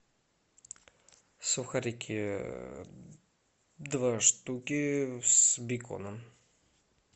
сухарики два штуки с беконом